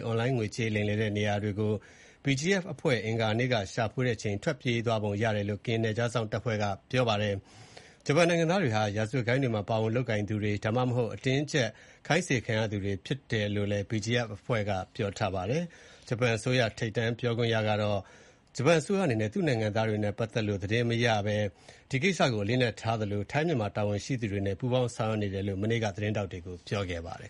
အွန်လိုင်းငွေလိမ်လုပ်ငန်းနေရာတွေမှာ ကရင် BGF က အင်္ဂါနေ့က ရှာဖွေချိန် ဂျပန်အယောက် ၂၀ ထဲက ၁၀ ယောက် ထွက်ပြေးသွားပုံရတယ်လို့ ကရင်နယ်ခြားစောင့်တပ်ဖွဲ့က ပြောပါတယ်။ ဂျပန်နိုင်ငံသားတွေဟာ ရာဇဝတ်ဂိုဏ်းတွေမှာ ပါဝင်လုပ်ကိုင်သူတွေ၊ ဒါမှမဟုတ် အတင်းအကျပ်ခိုင်းစေခံနေရသူတွေဖြစ်တယ်လို့လည်း BGF အဖွဲ့က ပြောပါတယ်။ ဂျပန်အစိုးရ ထိပ်တန်းပြောခွင့်ရ Yoshimasa Hayashi ကတော့ ဂျပန်အစိုးရအနေနဲ့ သူ့နိုင်ငံသားတွေနဲ့ ပတ်သက်လို့ ဘာသတင်းမှ မရတဲ့အကြောင်းနဲ့၊ ဒီကိစ္စကို အလေးအနက်ထားသလို၊ ထိုင်း မြန်မာနိုင်ငံက တာဝန်ရှိသူတွေနဲ့ ပူးပေါင်းဆောင်ရွက်ရွက်နေတဲ့အကြောင်း သတင်းထောက်တွေကို ပြောကြားခဲ့ပါတယ်